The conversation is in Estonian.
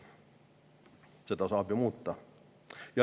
Seda saab ju muuta.